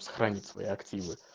сохранить свои активы